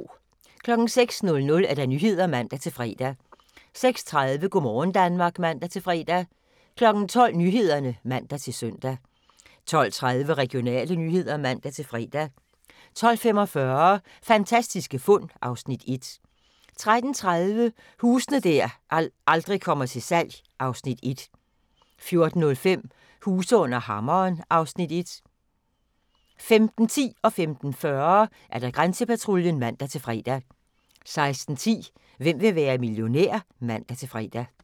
06:00: Nyhederne (man-fre) 06:30: Go' morgen Danmark (man-fre) 12:00: Nyhederne (man-søn) 12:30: Regionale nyheder (man-fre) 12:45: Fantastiske fund (Afs. 1) 13:30: Huse der aldrig kommer til salg (Afs. 1) 14:05: Huse under hammeren (Afs. 1) 15:10: Grænsepatruljen (man-fre) 15:40: Grænsepatruljen (man-fre) 16:10: Hvem vil være millionær? (man-fre)